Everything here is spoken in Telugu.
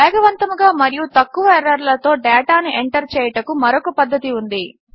వేగవంతముగా మరియు తక్కువ ఎర్రర్లతో డేటాను ఎంటర్ చేయుటకు మరొక పద్ధతి ఉంది